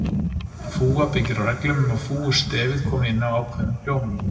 Fúga byggir á reglum um að fúgustefið komi inn á ákveðnum hljómum.